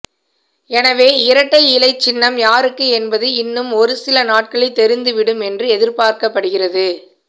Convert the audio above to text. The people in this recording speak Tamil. எனவே இரட்டை இலை சின்னம் யாருக்கு என்பது இன்னும் ஒருசில நாட்களில் தெரிந்துவிடும் என்று எதிர்பார்க்கப்படுகிறது